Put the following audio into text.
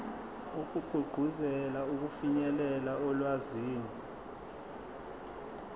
wokugqugquzela ukufinyelela olwazini